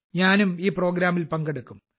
ഞാനും ഈ പ്രോഗ്രാമിൽ പങ്കെടുക്കും